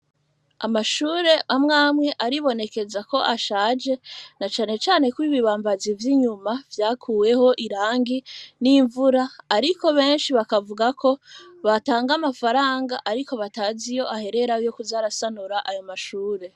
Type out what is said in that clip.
Amashure amwe amwe, aribonekeza ko, ashaje, na cane cane ko, ibibambazi vy'inyuma, vyakuweho irangi n'imvura; ariko, benshi bakavuga ko, batanga amafaranga, ariko, batazi iyo aherera, yo kuza arasanura, ayo mashure.